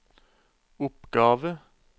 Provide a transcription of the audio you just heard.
oppgave